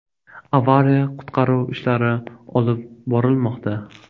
Avariya-qutqaruv ishlari olib borilmoqda.